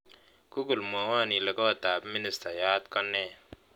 Google mwowon ile kootab ministayaat konee